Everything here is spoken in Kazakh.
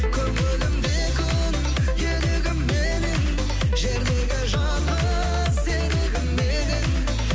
көңілімде күн елігім менің жердегі жалғыз серігім едің